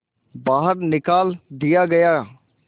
बाहर निकाल दिया गया